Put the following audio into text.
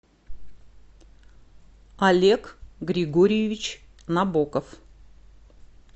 олег григорьевич набоков